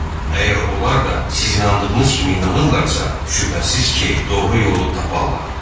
Əgər onlar da siz inandığınız kimi inanırlarsa, şübhəsiz ki, doğru yolu taparlar.